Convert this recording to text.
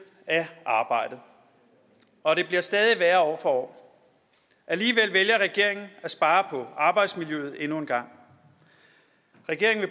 af arbejdet og det bliver stadig værre år for år alligevel vælger regeringen at spare på arbejdsmiljøet endnu en gang regeringen